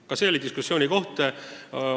Ka see oli diskussiooni koht.